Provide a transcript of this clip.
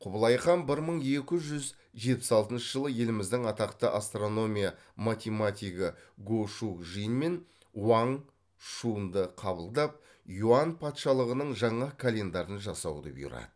құбылай хан бір мың екі жүз жетпіс алтыншы жылы еліміздің атақты астрономия математигі го шу жин мен уаң шуньді қабылдап юань патшалығының жаңа календарын жасауды бұйырады